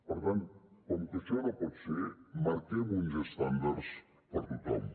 per tant com que això no pot ser marquem uns estàndards per a tothom